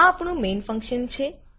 આ આપણું main function છે